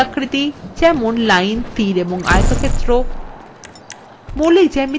মৌলিক আকৃতি যেমন lines তীর এবং আয়তক্ষেত্র